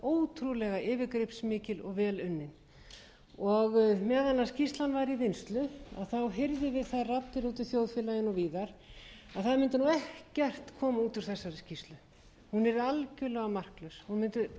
ótrúlega yfirgripsmikil og vel unnin meðan skýrslan var í vinnslu heyrðum við þær raddir úti í þjóðfélaginu og víðar að það mundi nú ekkert koma út úr þessari skýrslu hún yrði algjörlega marklaus hún mundi